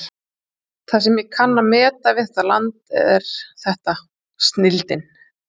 Það sem ég kann að meta við þetta land er þetta: snilldin.